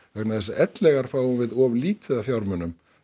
vegna þess að ellegar fáum við of lítið af fjármunum